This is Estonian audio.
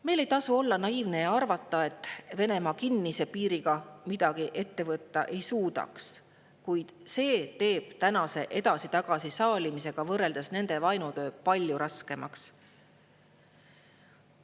Meil ei tasu olla naiivne ja arvata, et Venemaa kinnise piiriga midagi ette võtta ei suudaks, kuid see teeb tänase edasi-tagasi saalimisega võrreldes nende vaenutöö palju raskemaks.